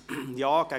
] gegen Antrag